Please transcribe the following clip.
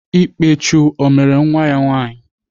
Ikpechu ọ mere nwa ya nwaanyị?